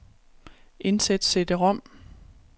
Indsæt cd-rom.